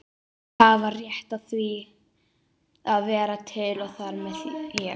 Allir hafa rétt á að vera til og þar með ég.